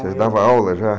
Você dava aula já?